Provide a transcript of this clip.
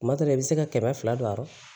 Kuma dɔ la i bɛ se ka kɛmɛ fila don a rɔ